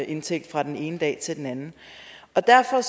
indtægt fra den ene dag til den anden derfor